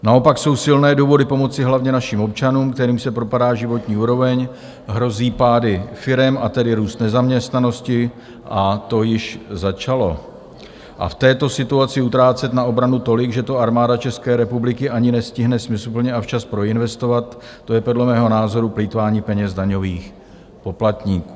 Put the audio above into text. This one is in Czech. Naopak jsou silné důvody pomoci hlavně našim občanům, kterým se propadá životní úroveň, hrozí pády firem, a tedy růst nezaměstnanosti, a to již začalo, a v této situaci utrácet na obranu tolik, že to Armáda České republiky ani nestihne smysluplně a včas proinvestovat, to je podle mého názoru plýtvání penězi daňových poplatníků.